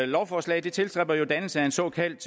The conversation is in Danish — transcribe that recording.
lovforslaget tilstræber jo dannelse af en såkaldt